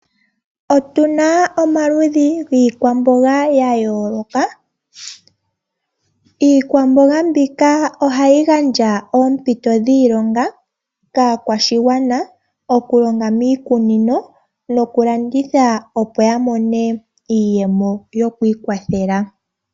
Otuna omaludhi giikwamboga yayoolokathana. Iikwamboga mbika ohayi gandja oompito dhiilonga kaakwashigwana okulonga miikununo nokulanditha opo yamone iiyemo yokwiikwathela.